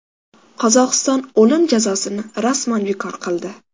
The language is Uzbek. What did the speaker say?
Qozog‘iston o‘lim jazosini rasman bekor qildi.